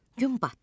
Gün batdı.